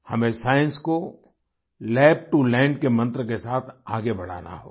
हमें साइंस को lab to land के मंत्र के साथ आगे बढ़ाना होगा